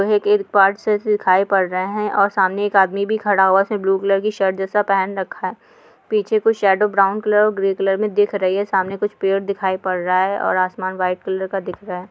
एक पार्ट्स है जो दिखाई पड़ रहे हैं और एक सामने एक आदमी भी खड़ा हुआ उसने ब्लू कलर की शर्ट जैसा पहन रखा है पीछे कोई शेडो ब्राउन कलर और ग्रे कलर में दिख रही है ‌। सामने कुछ पेड़ भी दिखाई पड़ रहा है और आसमान व्हाइट कलर का दिख रहा है।